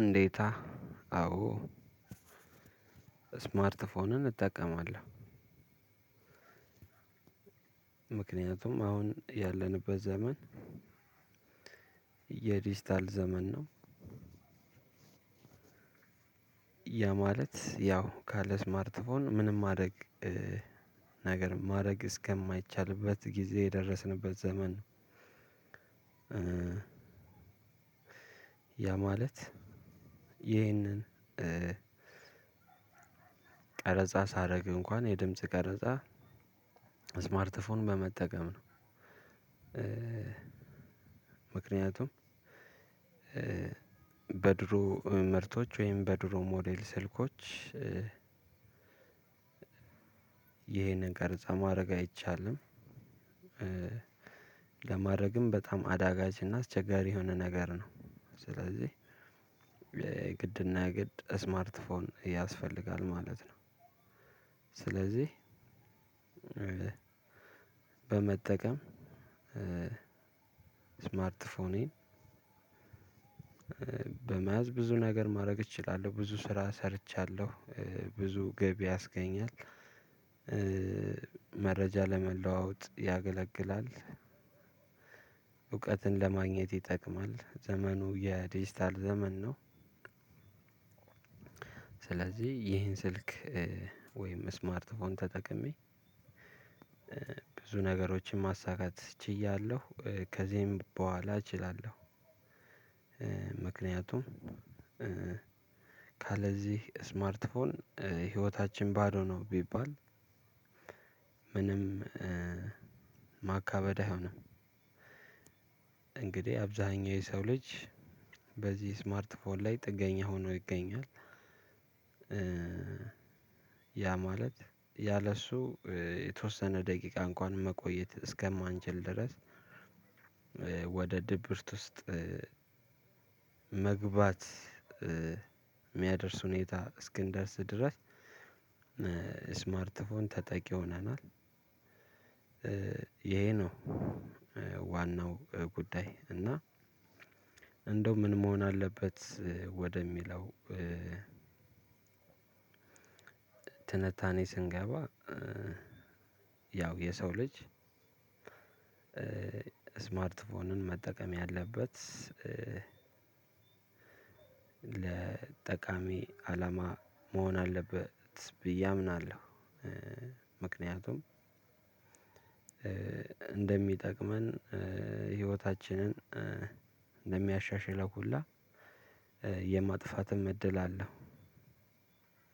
እንዴታ አዎ ስማርት ፎንን እጠቀማለሁ። ምክንያቱም አሁን ያለንበት ዘመን የዲጂታል ዘመን ነው። ያ ማለት ያው ካለስማርትፎን ምንም ማድረግ ነገር ማድረግ እስከማይቻልበት ጊዜ የደረስንበት ዘመን ነው። ያ ማለት ይህንን ቀረጻ ሳደርግ እንኳን የድምጽ ቀረጻ ስማርት ፎን በመጠቀም ነው። ምክንያቱም በድሮ ምርቶች ወይም በድሮ ሞዴል ስልኮች ይሄንን ቀርጻ ማድረግ አይቻልም። ለማድረግም በጣም አዳጋችና አስቸጋሪ የሆነ ነገር ነው። ስለዚህ የግድና የግድ ስማርት ፎን ያስፈልጋል ማለት ነው። ስለዚህ በመጠቀም ስማርት ፎኔን በመያዝ ብዙ ነገር ማድረግ እችላለሁ፣ ብዙ ስራ ሰርቻለሁ፣ ብዙ ገቢ ያስገኛል። መረጃ ለመለዋወጥ ያገለግላል፣ እውቀትን ለማግኘት ይጠቅማል፣ ዘመኑ የዲጂታል ዘመን ነው። ስለዚህ ይሄን ስልክ ወይም ስማርት ፎን ተጠቅሜ ብዙ ነገሮችን ማሳካት ችያለሁ። ከዚህም በኋላ እችላለሁ። ምክንያቱም ካለዚህ ስማርት ፎን ህይወታችን ባዶ ነው ቢባል ምንም ማካበድ አይሆንም። እንግዲህ አብዛኛው የሰው ልጅ በዚህ ስማርት ፎን ላይ ጥገኛ ሆኖ ይገኛል። ያ ማለት ያለሱ የተወሰነ ደቂቃ እንኳን መቆየት እስከማንችል ድረስ ወደ ድብርት ውስጥ መግባት የሚያደርስ ሁኔታ እስክንደርስ ድረስ ስማርት ፎን ተጠቂ ሆናል። ይሄ ነው ዋናው ጉዳይ። እና እንደው ምን መሆን አለበት? ወደሚለው ትንታኔ ስንገባ ያው የሰው ልጅ ስማርት ፎንን መጠቀም ያለበት ለጠቃሚ አላማ መሆን አለበት ብዬ አምናለሁ። ምክንያቱም እንደሚጠቅመን ህይወታችንን እንደሚያሻሽለው ሁላ የማጥፋትም እድል አለው።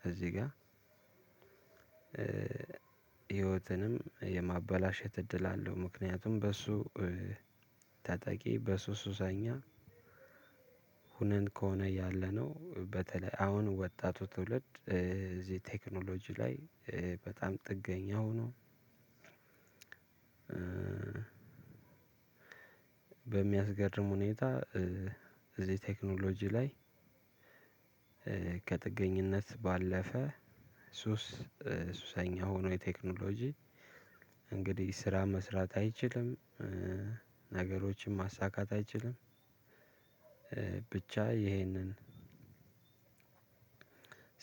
እዚህ ጋር ህይወትንም የማበላሸት እድል አለው። ምክንያቱም በሱ ተጠቂ በሱ ሱሰኛ ሆነን ከሆነ ያለነው በተለይ አሁን ወጣቱ ትውልድ እዚህ ቴክኖሎጂ ላይ በጣም ጥገኛ ሆኖ በሚያስገርም ሁኔታ እዚህ ቴክኖሎጂ ላይ ከጥገኝነት ባለፈ ሱስ ሱሰኛ ሆኖ የቴክኖሎጂ እንግዲህ ስራ መስራት አይችልም፣ ነገሮችን ማሳካት አይችልም። ብቻ ይህንን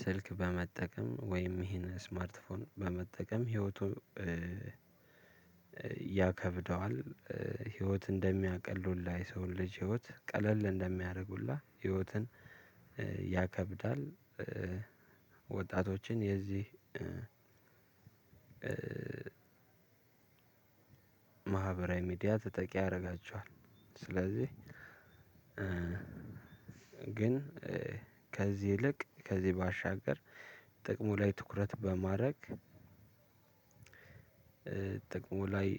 ስልክ በመጠቀም ወይም ይሄን ስማርት ፎን በመጠቀም ህይወቱ ያከብደዋል ህይወት እንደሚያቀል ሁላ የሰውን ልጅ ህይወት ቀለል እንደሚያደርግ ሁላ ህይወትን ያከብዳል። ወጣቶችን የዚህ ማህበራዊ ሚዲያ ተጠቂ ያረጋቸዋል። ስለዚህ ግን ከዚህ ይልቅ ከዚህ ባሻገር ጥቅሙ ላይ ትኩረት በማድረግ ጥቅሙ ላይ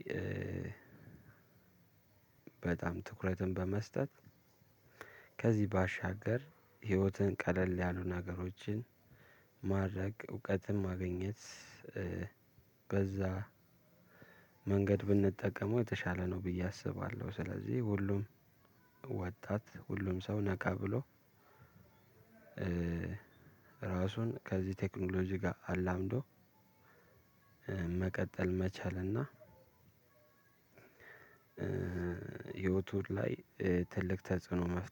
በጣም ትኩረትን በመስጠት ከዚህ ባሻገር ህይወትን ቀለል ያሉ ነገሮችን ማድረግ፣ እውቀትን ማግኘት፣ በዛ መንገድ ብንጠቀመው የተሻለ ነው ብዬ አስባለሁ። ስለዚህ ሁሉም ወጣት ሁሉም ሰው ነቃ ብሎ ራሱን ከዚህ ቴክኖሎጂ ጋር አላምዶ መቀጠል መቻልና እና ህይወቱ ላይ ትልቅ ተጽዕኖ